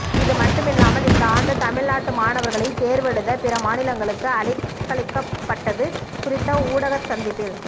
இதுமட்டுமில்லாமல் இந்த ஆண்டு தமிழ்நாட்டு மாணவர்களைத் தேர்வெழுத பிற மாநிலங்களுக்கு அலைக்கழிக்கப்பட்டது குறித்த ஊடக சந்திப்பில்